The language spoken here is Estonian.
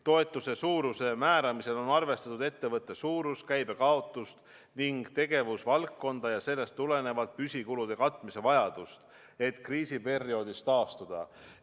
Toetuse suuruse määramisel on arvestatud ettevõtte suurust, käibe kaotust ning tegevusvaldkonda ja sellest tulenevalt püsikulude katmise vajadust, et kriisiperioodist taastuda.